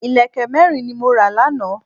Ìlẹ̀kẹ̀ mẹ́rin ni mo ra lánàá